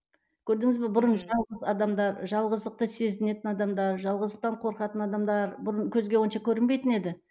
көрдіңіз бе бұрын жалғыз адамдар жалғыздықты сезінетін адамдар жалғыздықтан қорқатын адамдар бұрын көзге онша көрінбейтін еді